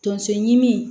Tonso ɲimi